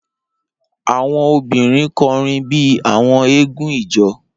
Awọn obirin kọrin bi awọn eégún ijó